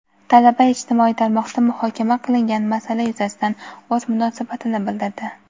Talaba ijtimoiy tarmoqda muhokama qilingan masala yuzasidan o‘z munosabatini bildirdi.